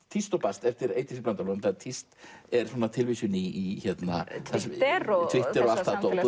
tíst og bast eftir Eydísi Blöndal tíst er svona tilvísun í Twitter og allt það dót